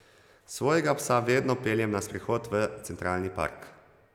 Svojega psa vedno peljem na sprehod v Centralni park.